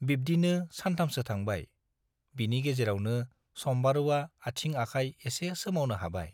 बिब्दिनो सानथामसो थांबाय, बिनि गेजेरावनो सम्बारुवा आथिं आखाय एसे सोमावनो हाबाय।